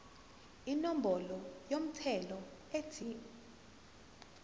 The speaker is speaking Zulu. inombolo yomthelo ethi